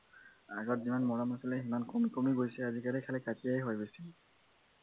আগত যিমান মৰম আছিলে কমি কমি গৈছে আজিকালি অকল কাজিয়াই হয়